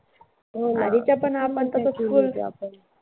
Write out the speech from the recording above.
हो ना. तसं full enjoy केलं आपण.